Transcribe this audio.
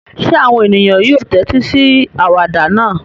Ṣé àwọn ènìyàn yóò tẹ́tí sí àwàdà náà?